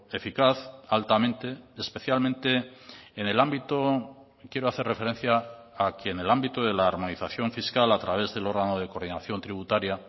eficaz altamente especialmente en el ámbito quiero hacer referencia a que en el ámbito de la armonización fiscal a través del órgano de coordinación tributaria